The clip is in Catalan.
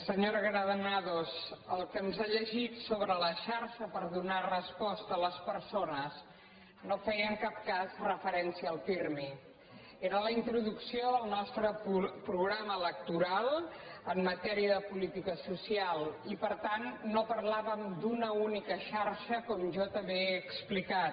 senyora granados el que ens ha llegit sobre la xarxa per donar resposta a les persones no feia en cap cas referència al pirmi era la introducció al nostre programa electoral en matèria de política social i per tant no parlàvem d’una única xarxa com jo també he explicat